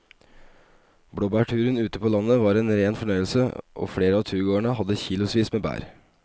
Blåbærturen ute på landet var en rein fornøyelse og flere av turgåerene hadde kilosvis med bær.